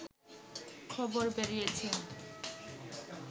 খবর বেরিয়েছে